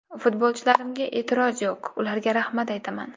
Futbolchilarimga e’tiroz yo‘q, ularga rahmat aytaman.